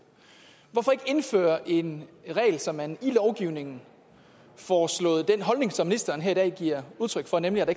hvorfor ikke indføre en regel så man i lovgivningen får slået den holdning fast som ministeren her i dag giver udtryk for nemlig at